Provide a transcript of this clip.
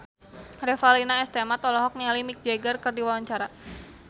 Revalina S. Temat olohok ningali Mick Jagger keur diwawancara